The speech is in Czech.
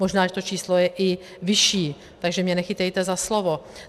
Možná, že to číslo je i vyšší, takže mě nechytejte za slovo.